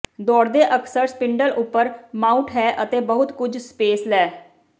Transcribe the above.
ਦੌੜਦੇ ਅਕਸਰ ਸਪਿੰਡਲ ਉਪਰ ਮਾਊਟ ਹੈ ਅਤੇ ਬਹੁਤ ਕੁਝ ਸਪੇਸ ਲੈ